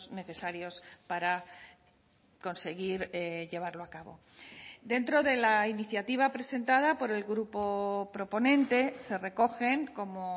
necesarios para conseguir llevarlo a cabo dentro de la iniciativa presentada por el grupo proponente se recogen como